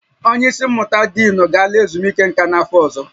Onye isi mmụta diinu ga-ala ezumike nka n'afọ ọzọ